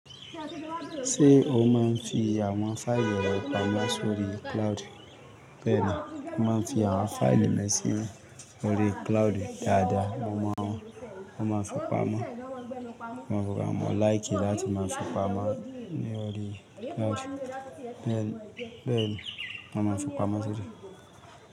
Ṣé o máa ń fi àwọn fáìlì rẹ pamọ́ sórí cloud? Bẹ́ẹ̀ni, mo máa ń fi àwọn fáìlì mi sí orí cloud dáadáa. Mo máa ń, mo máa ń fi pamọ́, mo máa ń fi pamọ́. Like láti máa fi pamọ́ ní orí cloud. Bẹ́ẹ̀ni, bẹ́ẹ̀ni, mo máa ń fi pamọ́ sórí.